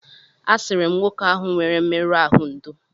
A sịrị m nwoke ahụ nwere mmerụ ahụ ndò.